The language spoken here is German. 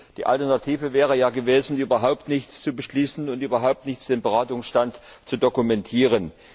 Die Alternative wäre ja gewesen, überhaupt nichts zu beschließen und überhaupt nicht den Beratungsstand zu dokumentieren.